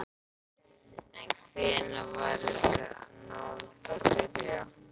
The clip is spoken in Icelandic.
En hvenær væri þá hægt að byrja?